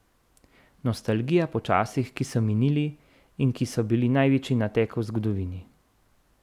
Nostalgija po časih, ki so minili in ki so bili največji nateg v zgodovini.